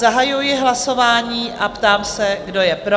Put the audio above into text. Zahajuji hlasování a ptám se, kdo je pro?